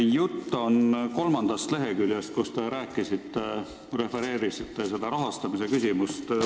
Jutt on ülevaate kolmandast leheküljest, kus räägitakse rahastamisest.